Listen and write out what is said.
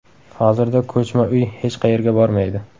Hozirda ko‘chma uy hech qayerga bormaydi.